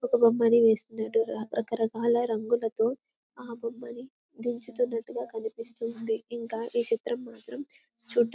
ఒక బొమ్మని వేస్తున్నట్టున్నారు రకరకాల రంగులతో ఆ బొమ్మని దించుతున్నట్టుగా కనిపిస్తుంది ఇంకా ఈ చిత్రం మాత్రం చూడ్డా --.